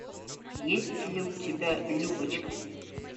есть ли у тебя любочка